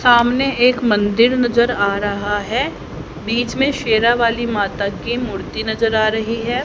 सामने एक मंदिर नजर आ रहा है बीच में शेरावाली माता की मूर्ति नजर आ रही है।